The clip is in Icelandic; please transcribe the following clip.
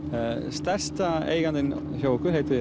stærsti eigandinn hjá okkur heitir